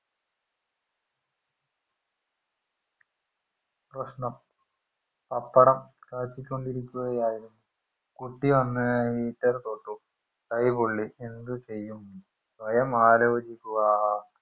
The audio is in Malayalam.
പ്രശ്നം പപ്പടം കാച്ചികൊണ്ടിരിക്കുകയായിരുന്നു കുട്ടിവന്ന് heater തൊട്ടു കൈപൊള്ളി എന്തുചെയ്യും സ്വയം ആലോചിക്കുക